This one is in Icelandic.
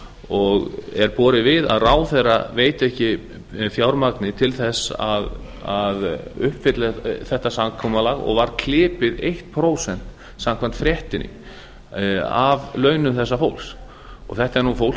og er borið við að ráðherra veiti ekki fjármagni til þess að uppfylla þetta samkomulag og var klipið eitt prósent samkvæmt fréttinni af launum þessa fólks þetta er fólk